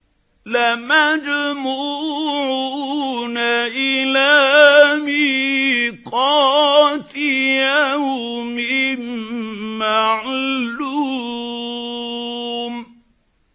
لَمَجْمُوعُونَ إِلَىٰ مِيقَاتِ يَوْمٍ مَّعْلُومٍ